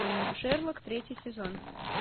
шерлок третий сезон